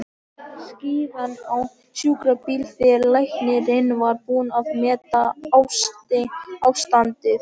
Síðan á sjúkrabíl þegar læknirinn var búinn að meta ástandið.